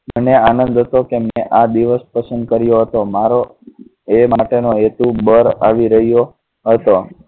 મને આનંદ તો કે મેં આ દિવસ પસંદ કર્યો હતો મારો એ માટે નો હેતુ બદ આવી રહ્યો હતો